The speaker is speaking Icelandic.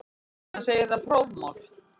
Hann segir það prófmál.